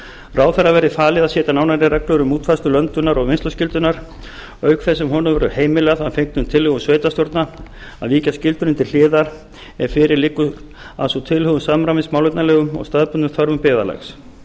ráðherra verði falið að setja nánari reglur um útfærslu löndunar og vinnsluskyldunnar auk þess sem honum verður heimilað að fengnum tillögum sveitarstjórna að víkja skyldunni til hliðar ef fyrir liggur að sú tilhögun samræmist málefnalegum og staðbundnum þörfum byggðarlags